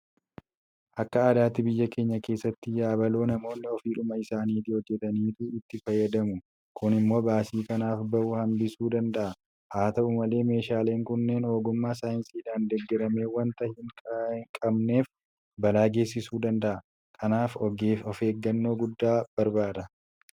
Akka aadaatti biyya keenya keessatti yabaloo namoonni ofiidhuma isaaniitii hojjetataniitu itti fayyadamamu. Kun immoo baasii kanaaf bahu hambisuu danda'a. Haata'u malee meeshaaleen kunneen ogummaa saayinsiidhaan deeggarame waanta hin qabneef balaa geessisuu danda'a. Kanaaf ofeeggannoo guddaa barbaada.